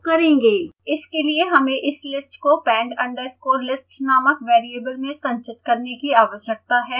इसके लिए हमें इस लिस्ट को pend_list नामक वेरिएबल में संचित करने की आवश्यकता है